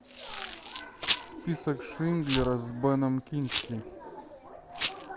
список шиндлера с беном кингсли